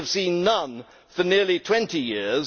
We have seen none for nearly 20 years.